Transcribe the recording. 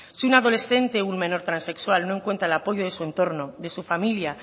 si un adolescente o un menor transexual no encuentra el apoyo de su entorno de su familia